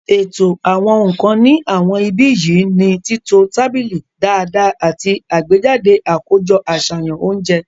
Ètò àwọn nǹkan ní àwọn ibi yìí ni títọ tábìlì dáadáa àti àgbéjáde àkójọ àṣàyàn oúnjẹ